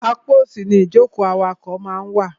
Apá òsì ni ìjókòó awakọ̀ máa ń wà.